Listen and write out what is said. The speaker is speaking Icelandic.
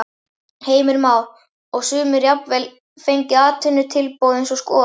Heimir Már: Og sumir jafnvel fengið atvinnutilboð eins og skot?